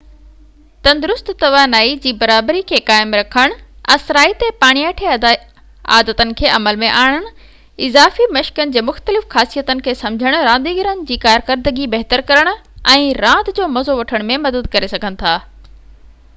تندرست توانائي جي برابري کي قائم رکڻ اثرائتي پاڻياٺي عادتن کي عمل ۾ آڻڻ اضافي مشڪن جي مختلف خاصيتن کي سمجهڻ رانديگرن جي ڪارڪردگي بهتر ڪرڻ ۽ راند جو مزو وٺڻ ۾ مدد ڪري سگهن ٿا